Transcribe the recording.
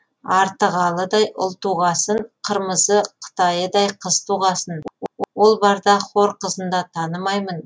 артығалыдай ұл туғасын қырмызы қытайыдай қыз туғасын ол барда хор қызын да танымаймын